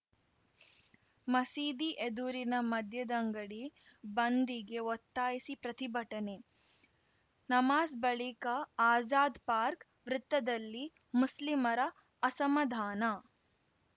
ಮಸೀದಿ ಎದುರಿನ ಮದ್ಯದಂಗಡಿ ಬಂದ್‌ಗೆ ಒತ್ತಾಯಿಸಿ ಪ್ರತಿಭಟನೆ ನಮಾಜ್‌ ಬಳಿಕ ಆಜಾದ್‌ ಪಾರ್ಕ್ ವೃತ್ತದಲ್ಲಿ ಮುಸ್ಲಿಮರ ಅಸಮಾಧಾನ